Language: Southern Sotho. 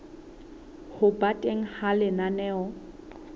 ho ba teng ha lenaneo